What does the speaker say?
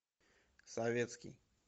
советский